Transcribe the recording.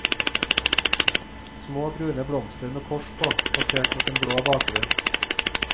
Små brune blomster, med kors på, plassert mot en blå bakgrunn.